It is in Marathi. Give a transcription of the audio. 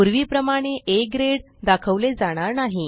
पूर्वीप्रमाणे आ ग्रेड दाखवले जाणार नाही